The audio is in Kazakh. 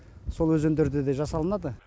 сол өзендерде де жасалынады